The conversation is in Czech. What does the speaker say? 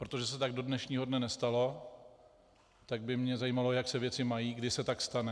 Protože se tak do dnešního dne nestalo, tak by mě zajímalo, jak se věci mají, kdy se tak stane.